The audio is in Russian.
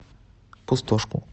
пустошку